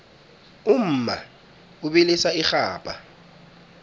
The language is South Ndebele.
umma ubilisa irhabha